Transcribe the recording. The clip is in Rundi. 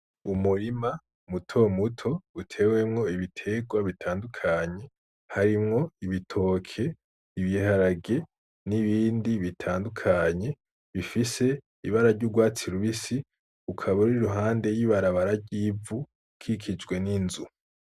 Umurima mutomuto uteyemwo ibiterwa bitandukanye harimwo ibitoke, ibiharage n'ibindi bitandukanye bifise ibara ry'urwatsi rubisi ukaba uri iruhande y'ibarabara ry'ivu ukikijwe n'inzu.